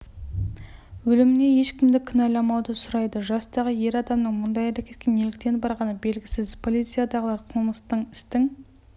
өліміне ешкімді кінәламауды сұрайды жастағы ер адамның мұндай әрекетке неліктен барғаны белгісіз полициядағылар қылмыстық істің